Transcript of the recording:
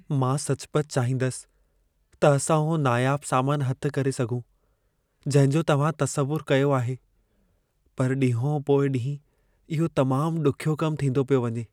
मां सचुपचु चाहींदसि त असां उहो नायाबु सामानु हथि करे सघूं, जंहिं जो तव्हां तसवुरु कयो आहे। पर ॾींहो पोइ ॾींहुं इहो तमामु ॾुखियो कमु थींदो पियो वञे।